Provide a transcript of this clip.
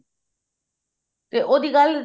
ਤੇ ਉਹਦੀ ਗੱਲ